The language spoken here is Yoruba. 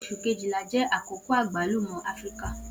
Oṣu Kejìlá jẹ akoko agbalumo Afirika.